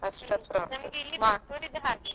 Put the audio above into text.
ಅಷ್ಟು ಹತ್ರ ಆಗ್ತದೆ.